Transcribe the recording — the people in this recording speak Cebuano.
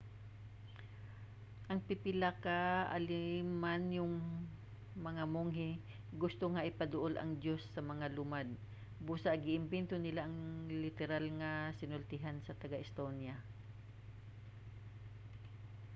ang pipila ka alemanhong mga monghe gusto nga ipaduol ang diyos sa mga lumad busa gi-imbento nila ang literal nga sinultian sa taga-estonia